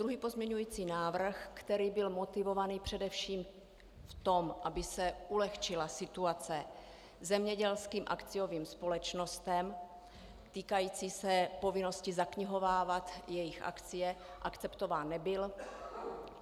Druhý pozměňovací návrh, který byl motivován především v tom, aby se ulehčila situace zemědělským akciovým společnostem, týkající se povinnosti zaknihovávat jejich akcie, akceptován nebyl.